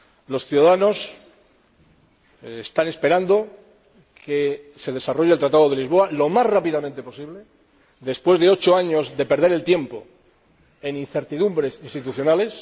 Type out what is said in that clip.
Los ciudadanos están esperando que se desarrolle el Tratado de Lisboa lo más rápidamente posible después de ocho años de perder el tiempo en incertidumbres institucionales.